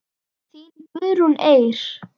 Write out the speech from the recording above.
Þín Guðrún Eir.